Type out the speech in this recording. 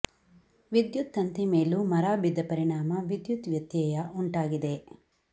ವಿದ್ಯುತ್ ತಂತಿ ಮೇಲೂ ಮರ ಬಿದ್ದ ಪರಿಣಾಮ ವಿದ್ಯುತ್ ವ್ಯತ್ಯಯ ವುಂಟಾಗಿದೆ